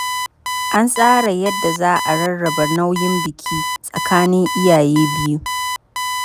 An tsara yadda za a rarraba nauyin biki tsakanin iyaye biyu.